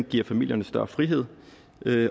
giver familierne større frihed